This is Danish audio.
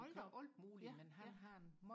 hold da op ja ja